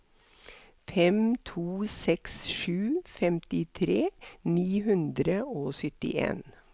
fem to seks sju femtitre ni hundre og syttien